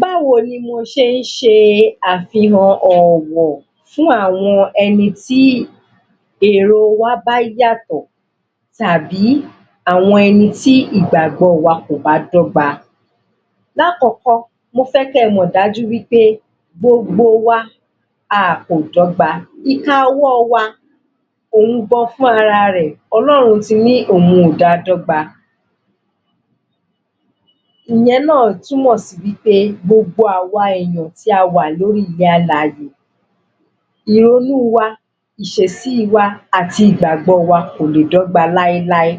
Báwo ni mo ṣe ń ṣe àfihàn ọ̀wọ̀ fún àwọn ẹnití èrò wa bá yàtọ̀ tàbí àwọn ẹni tí ìgbàgbọ́ wa kò bá dọ́gba? L'ákọ́kọ́, mo fẹ́ kẹ mọ̀ dájú wí pé gbogbo wa a kò dọ́gba, ìka ọwọ́ wa òun gan fúnra rẹ̀, Ọlọ́run ti ní òun ò dáa dọ́gba. Ìyẹn náà tún mọ̀ sí wí pé gbogbo àwa èèyàn tí a wà lórí ilẹ̀-alàyè ìrònú wa, ìṣesí wa, ìgbàgbọ́ wa kò lè dọ́gba láíláí.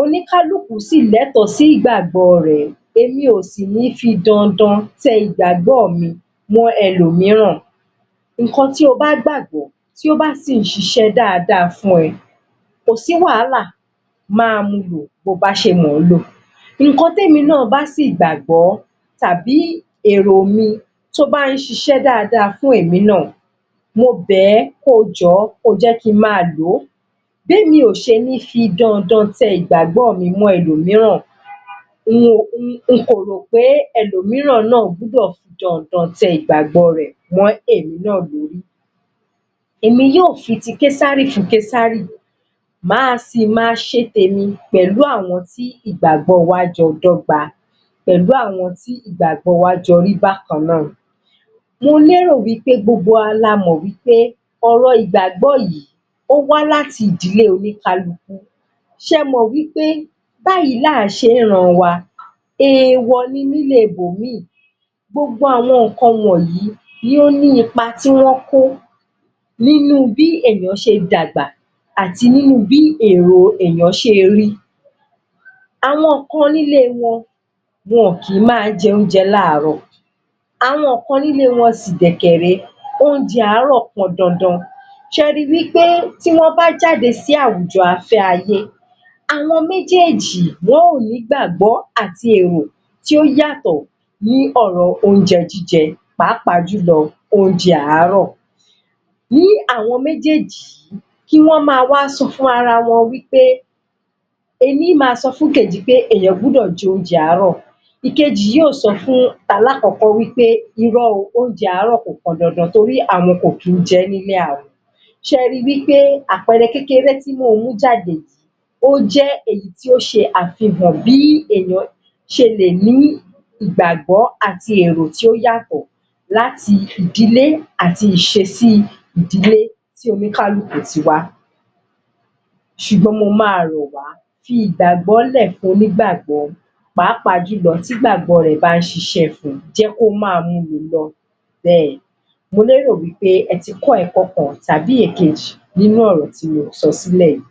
Oníkálukú sì lẹ́tọ̀ sí ìgbàgbọ́ rẹ̀, èmi ò sì ní fi dandan tẹ ìgbàgbọ́ mi mọ́ ẹlòmíràn. ǹnkan tí o bá gbàgbọ́, tí ó bá sì ṣiṣẹ́ dáadáa fún ẹ kò sí wàhálà, máa mu lò bo bá ṣe mọ̀ ọ́ lò, ǹnkan tí èmi náà bá sì gbàgbọ́, tàbí èrò mi tí ó bá ń ṣiṣẹ́ dáadáa fún èmi náà. mo bẹ̀ ọ́, kí o jọ̀ọ́, ko jẹ́ kí n máa lò ó. Bí èmi ò ṣe ní fi dandan tẹ ìgbàgbọ́ mi mọ́ ẹlọ̀míràn ni mo fi rò ó pé ẹ̀lọmíràn náà gbọ́dọ̀ fi dandan tẹ ìgbàgbọ́ rẹ̀ mọ́ èmi náà lórí. Èmi yóò fi ti késárì fún késárì máa si máa ṣe tèmi pẹ̀lú àwọn tí ìgbàgbọ́ wa jọ́ ọ dọ́gba pẹ̀lú àwọn tí ìgbàgbọ́ wa jọ rí bákan náà. Mo lérò wí pé gbogbo wa la mọ̀ wí pé, ọ̀rọ̀ ìgbàgbọ́ yìí, ó wá láti ìdílé oníkálukú. Ṣẹ mọ̀ wí pé, báyìí là ń ṣe ní ìran wa èèwọ̀ ni nílé ibòmíì. Gbogbo àwọn ǹnkan wọ̀nyìí ló ní ipa tí wọ́n kó nínú bí èèyàn ṣe dàgbà àti nínú bí èrò èèyàn ṣe rí. Àwọn kan nílé wọn, wọn ò kí ń máa jẹ oúnjẹ l'áàárọ̀ àwọn kan nílé wọn sì dẹ̀ kẹ ré, oúnjẹ àárọ̀ pọn dandan. Ṣẹ ri wí pé tí wọ́n bá jáde sí àwùjọ afẹ́ ayé àwọn méjèjì, wọ́n ó ní ìgbàgbọ́ àti èrò tí ó yàtọ̀ ní ọ̀rọ̀ oúnjẹ jíjẹ, pàápàá jùlọ, oúnjẹ àárọ̀. Ní àwọn méjèjì yìí, kí wọ́n máa wá sọ fún ara wọn wí pé, ení ó máa sọ fún ìkejì pé èèyàn gbọ́dọ̀ jẹ oúnjẹ àárọ̀, ìkejì yóò sọ fún alákọ̀ọ́kọ́ wí pé irọ́ o, oúnjẹ àárọ̀ kò pọn dandan torí pé àwọn kò kìí jẹ́ nílé àwọn. Ṣẹ ri wí pé àpẹẹrẹ kékeré tí mo mú jáde yìí, ó jẹ́ èyí tó ṣe àfihàn bí èèyàn ṣe lè ní ìgbàgbọ́ àti èrò tí ó yàtọ̀, láti ìdílé àti ìṣesí ìdílé tí oníkálukú ti wá. Ṣùgbọ́n mo máa rọ̀ wá fi ìgbàgbọ́ lẹ̀ fún onígbàgbọ́ pàápàá tí ìgbàgbọ́ rẹ̀ bá ń ṣiṣẹ́ fun, jẹ́ kó máa mulò lọ bẹ́ẹ̀. Mo lérò wí pé ẹ ti kọ́ ẹ̀kọ́ kan tàbí ìkejì nínú ọ̀rọ̀ tí mo sọ sílẹ̀ yìí.